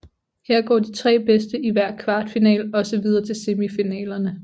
Her går de tre bedste i hver kvartfinale også videre til semifinalerne